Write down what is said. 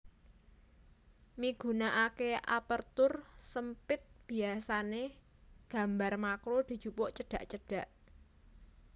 Migunakaké Aperture SempitBiasané gambar makro dijupuk cedhak cedhak